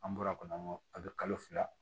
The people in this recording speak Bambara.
An bɔra kɔni an ka a bɛ kalo fila